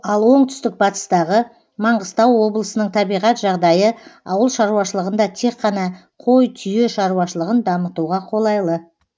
ал оңтүстік батыстағы маңғыстау облысының табиғат жағдайы ауыл шаруашылығында тек қана кой түйе шаруашылығын дамытуға қолайлы